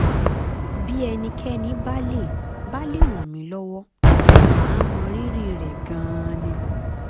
bí ẹnikẹ́ni bá lè bá lè ràn mí lọ́wọ́ màá mọ rírì rẹ̀ gan-an ni